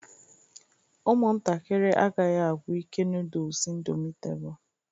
Ụmụntakịrị agaghị agwụ ike noodles Indomitable